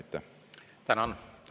Tänan!